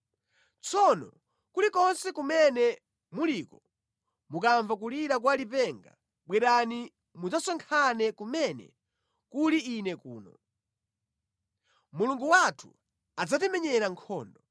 Tsono kulikonse kumene muliko, mukamva kulira kwa lipenga bwerani mudzasonkhane kumene kuli ine kuno. Mulungu wathu adzatimenyera nkhondo.”